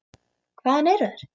Hvaðan eru þær.